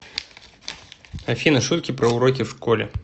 афина шутки про уроки в школе